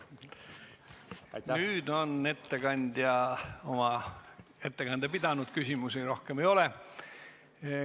Nüüd on ettekandja oma ettekande pidanud, küsimusi rohkem ei ole.